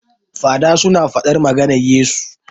Fada su na faɗar maganar Yesu